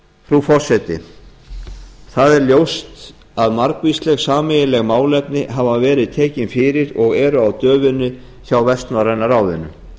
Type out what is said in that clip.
frú forseti það er ljóst að margvísleg sameiginleg málefni hafa verið tekin fyrir og eru á döfinni hjá vestnorræna ráðinu